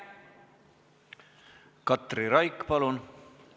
Katri Raik, palun!